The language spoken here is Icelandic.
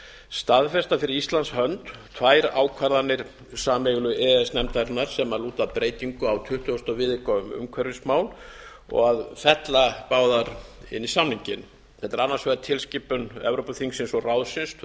staðfesta fyrir íslands hönd tvær ákvarðanir sameiginlegu e e s nefndarinnar sem lúta að breytingu á tuttugasta viðauka um umhverfismál og að fella báðar inn í samninginn þetta er annars vegar tilskipun evrópuþingsins og ráðsins tvö